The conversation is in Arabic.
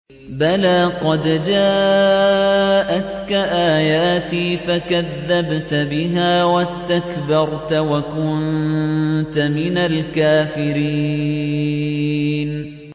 بَلَىٰ قَدْ جَاءَتْكَ آيَاتِي فَكَذَّبْتَ بِهَا وَاسْتَكْبَرْتَ وَكُنتَ مِنَ الْكَافِرِينَ